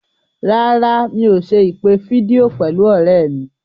Rárá, mi ò ṣe ìpè fídíò pẹ̀lú ọ̀rẹ́ mi.